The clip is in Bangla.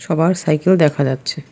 আবার সাইকেল দেখা যাচ্ছে।